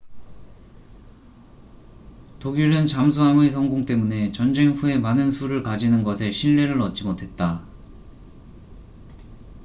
독일은 잠수함의 성공 때문에 전쟁 후에 많은 수를 가지는 것에 신뢰를 얻지 못했다